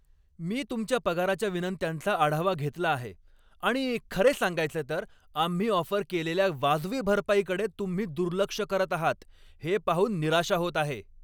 मी तुमच्या पगाराच्या विनंत्यांचा आढावा घेतला आहे आणि खरे सांगायचे तर, आम्ही ऑफर केलेल्या वाजवी भरपाईकडे तुम्ही दुर्लक्ष करत आहात हे पाहून निराशा होत आहे.